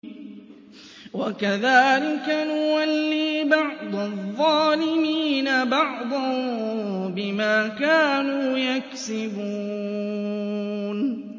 وَكَذَٰلِكَ نُوَلِّي بَعْضَ الظَّالِمِينَ بَعْضًا بِمَا كَانُوا يَكْسِبُونَ